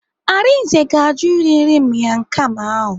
Arinze ga-ajụ iri nri miang kham ahụ.